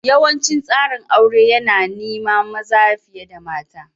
Yawancin tsarin aure yana niima maza fiye da mata.